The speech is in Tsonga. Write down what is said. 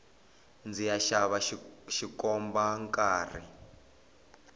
ndziya xava xikomba nkarhi